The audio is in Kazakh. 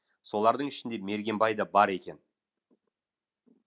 солардың ішінде мергенбай да бар екен